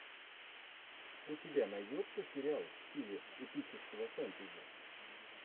у тебя найдется сериал в стиле эпического фэнтези